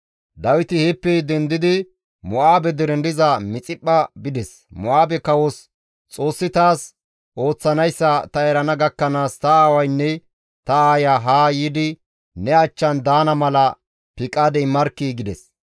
Dawiti heeppe dendidi Mo7aabe deren diza Mixiphpha bides; Mo7aabe kawos, «Xoossi taas ooththanayssa ta erana gakkanaas ta aawaynne ta aaya haa yiidi ne achchan daana mala piqaade immarkkii!» gides.